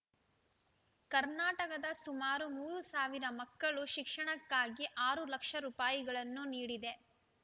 ಕರ್ನಾಟಕದ ಸುಮಾರು ಮೂರು ಸಾವಿರ ಮಕ್ಕಳ ಶಿಕ್ಷಣಕ್ಕಾಗಿ ಆರು ಲಕ್ಷ ರೂಪಾಯಿಗಳನ್ನು ನೀಡಿದೆ